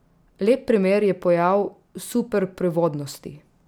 Lep primer je pojav superprevodnosti.